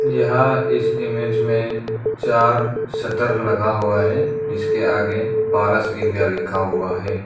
यह इस इमेज में चार शटर लगा हुआ है जिसके आगे पारस इंडिया लिखा हुआ है।